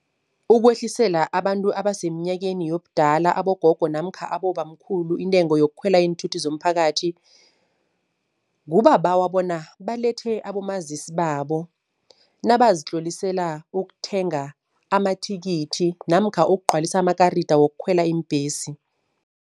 Ukwehlisela abantu abasemnyakeni yobudala abogogo namkha abobamkhulu intengo yokukhwela iinthuthi zomphakathi. Kubabawa bona balethe abomazisi babo nabazitlolisela ukuthenga amathikithi namkha ukugcwalisa amakarida wokukhwela iimbhesi.